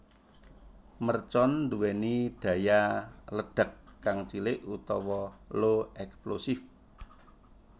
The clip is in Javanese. Mercon nduwéni daya ledak kang cilik utawa low explosive